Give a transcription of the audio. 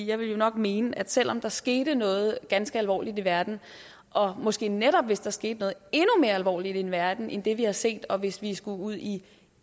jeg ville jo nok mene at selv om der skete noget ganske alvorligt i verden og måske netop hvis der skete noget endnu mere alvorligt i verden end det vi har set og hvis vi skulle ud i